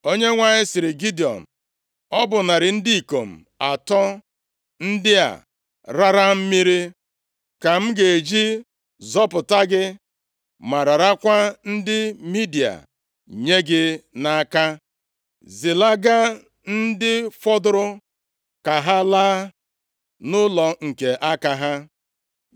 Onyenwe anyị sịrị Gidiọn, “Ọ bụ narị ndị ikom atọ ndị a raara mmiri ka m ga-eji zọpụta gị, ma rarakwa ndị Midia nye gị nʼaka. Zilaga ndị fọdụrụ ka ha laa nʼụlọ nke aka ha.”